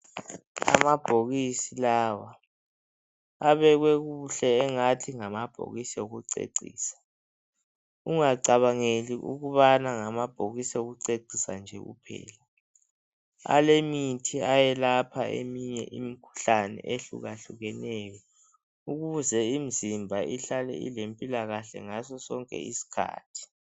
Amabhokisi lawa, abekwe kuhle engathi ngamabhokisi okucecisa. Ungacabangeli ukuthi ngamabhokisi okucecisa nje kuphela. Alemithi eyelapha eminye imikhuhlane, ehlukahlukeneyo. Ukuze imizimba ihlale ilempilakahle ngaso sonke isikhathi.